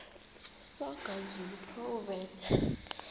soga zulu proverbs